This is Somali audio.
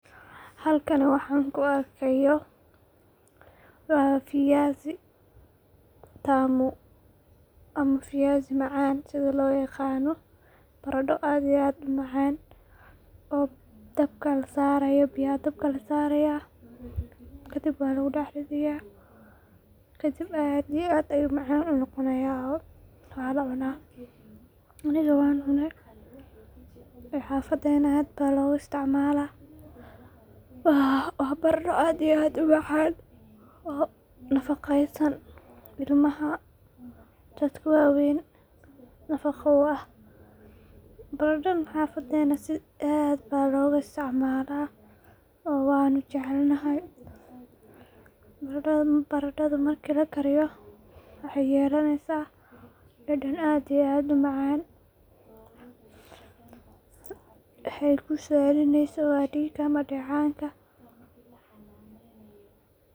Halkani waxan kuu arkayo waa viazitamu, ama viyasi macan sidhi loo yaqano, barado aad iyo aad umacan oo dabka lasarayo biya dabka lasara kadib walagu dax ridaya, kadib aad iyo aad ayu macan unoqonayaah, walacuna aniga waxan cuney oo xafadenah aad baa logaa istacmala, waa barando aad iyo aad umacan nafaqeysan, ilmaha, dadka waweyn nafaqo uah, baradadhan xafadenah sii aad baa loga istacmala oo waynu jecelnahay, baradadhan marki lakariyo waxay yelaneysa dadan aad iyo aad umacan, waxay kusiyadineyso waa diga ama dacanka.